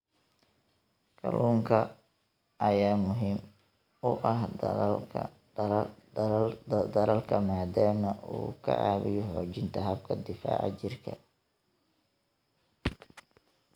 Kalluunka ayaa muhiim u ah dhallaanka maadaama uu ka caawiyo xoojinta habka difaaca jirka.